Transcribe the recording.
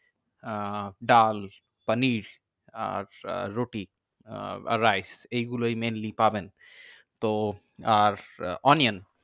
আহ ডাল, পানির, আর আহ রুটি, আর rice এইগুলোই mainly পাবেন। তো আর আহ onion